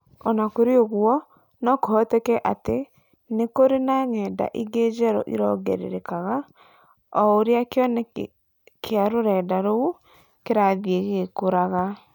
O na kũrĩ ũguo, no kũhoteke atĩ nĩ kũrĩ na ng’enda ingĩ njerũ irongererekaga o ũrĩa kĩoneki kĩa rũrenda rou kĩrathiĩ gĩgĩkũraga.